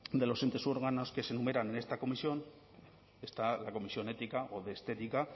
de los entes y órganos que se enumeran en esta comisión está la comisión ética o de estética